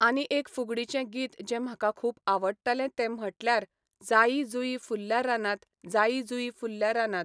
आनी एक फुगडीचें गीत जें म्हाका खूब आवडटालें तें म्हणटल्यार जायी जुयी फुलल्या रानांत जायी जुयी फुलल्या रानांत.